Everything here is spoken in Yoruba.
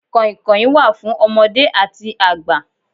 Kàìnkàìn wà fún ọmọdé àti àgbà.